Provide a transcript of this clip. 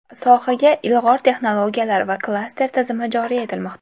Sohaga ilg‘or texnologiyalar va klaster tizimi joriy etilmoqda.